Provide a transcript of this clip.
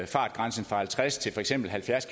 fartgrænsen fra halvtreds til for eksempel halvfjerds